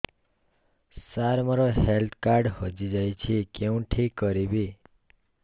ସାର ମୋର health card ହଜି ଯାଇଛି କେଉଁଠି କରିବି